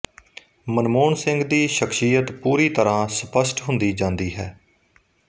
ਮਨਮੋਹਨ ਸਿੰਘ ਦੀ ਸ਼ਖ਼ਸੀਅਤ ਪੂਰੀ ਤਰ੍ਹਾਂ ਸਪਸ਼ਟ ਹੁੰਦੀ ਜਾਂਦੀ ਹੈ